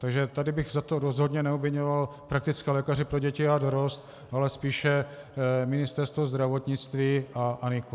Takže tady bych za to rozhodně neobviňoval praktické lékaře pro děti a dorost, ale spíše Ministerstvo zdravotnictví a NIKO.